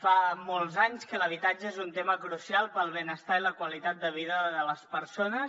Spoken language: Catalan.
fa molts anys que l’habitatge és un tema crucial per al benestar i la qualitat de vida de les persones